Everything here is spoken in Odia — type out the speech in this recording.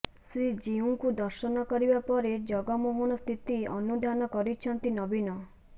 ଶ୍ରୀଜିଉଙ୍କୁ ଦର୍ଶନ କରିବା ପରେ ଜଗମୋହନ ସ୍ଥିତି ଅନୁଧ୍ୟାନ କରିଛନ୍ତି ନବୀନ